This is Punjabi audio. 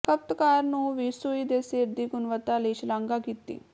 ਖਪਤਕਾਰ ਨੂੰ ਵੀ ਸੂਈ ਦੇ ਸਿਰ ਦੀ ਗੁਣਵੱਤਾ ਲਈ ਸ਼ਲਾਘਾ ਕੀਤੀ